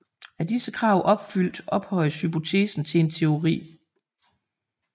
Er disse krav opfyldt ophøjes hypotesen til en teori